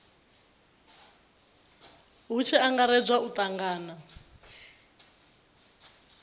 hu tshi angaredzwa u tangana